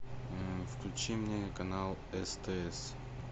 включи мне канал стс